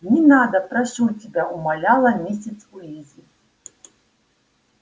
не надо прошу тебя умоляла миссис уизли